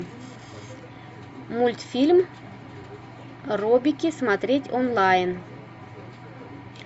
мультфильм робики смотреть онлайн